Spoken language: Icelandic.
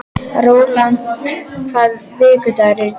Rólant, hvaða vikudagur er í dag?